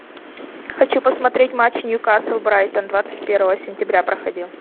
хочу посмотреть матч ньюкасл брайтон двадцать первого сентября проходил